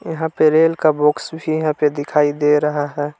यहां पर रेल का बॉक्स भी यहां पे दिखाई दे रहा है।